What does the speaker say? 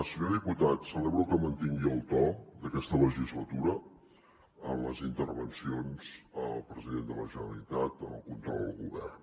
senyor diputat celebro que mantingui el to d’aquesta legislatura en les intervencions al president de la generalitat en el control al govern